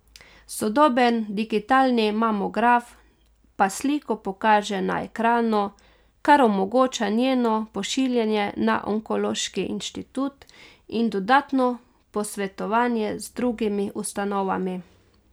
Sodoben digitalni mamograf pa sliko pokaže na ekranu, kar omogoča njeno pošiljanje na onkološki inštitut in dodatno posvetovanje z drugimi ustanovami.